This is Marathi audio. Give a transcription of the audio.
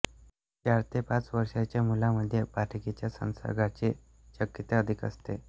चार ते पाच वर्षाच्या मुलामध्ये पटकीच्या संसर्गाची शक्यता अधिक असते